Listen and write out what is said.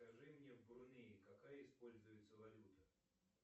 скажи мне в бруней какая используется валюта